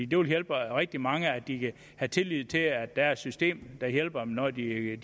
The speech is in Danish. det vil hjælpe rigtig mange at de kan have tillid til at der er et system der hjælper dem når de er